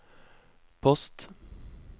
post